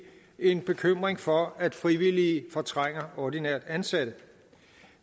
en bekymring for at frivillige fortrænger ordinært ansatte